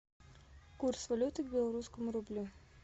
курс валюты к белорусскому рублю